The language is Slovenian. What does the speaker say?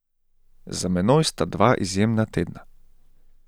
Za menoj sta dva izjemna tedna.